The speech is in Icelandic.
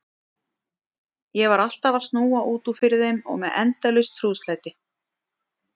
Ég var alltaf að snúa út úr fyrir þeim og með endalaus trúðslæti.